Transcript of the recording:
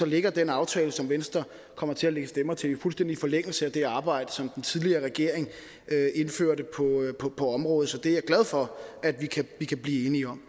ligger den aftale som venstre kommer til at lægge stemmer til jo fuldstændig i forlængelse af det arbejde som den tidligere regering indførte på området så det er jeg glad for at vi kan vi kan blive enige om